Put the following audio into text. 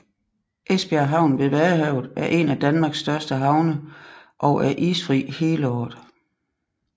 Esbjerg Havn ved vadehavet er en af Danmarks største havne og er isfri hele året